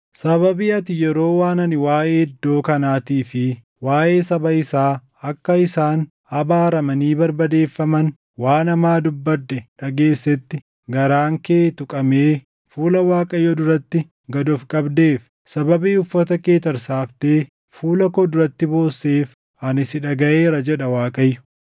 “Sababii ati yeroo waan ani waaʼee iddoo kanaatii fi waaʼee saba isaa akka isaan abaaramanii barbadeeffaman waan hamaa dubbadhe dhageessetti garaan kee tuqamee fuula Waaqayyoo duratti gad of qabdeef, sababii uffata kee tarsaaftee fuula koo duratti boosseef, ani si dhagaʼeera” jedha Waaqayyo.